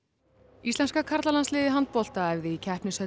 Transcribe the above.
íslenska karlalandsliðið í handbolta æfði í